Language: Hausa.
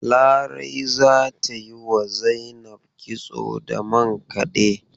Larai za ta yi wa Zainab kitso da mankade.